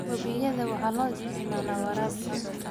Wabiyada waxaa loo isticmaalaa waraabka.